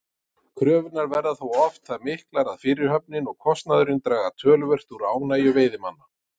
Kröfurnar verða þó oft það miklar að fyrirhöfnin og kostnaðurinn draga töluvert úr ánægju veiðimanna.